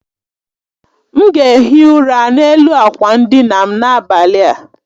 M ga ehi ụra n'elu akwa ndina m n'abalị a